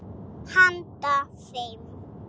Handa fimm